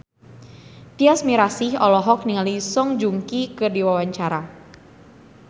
Tyas Mirasih olohok ningali Song Joong Ki keur diwawancara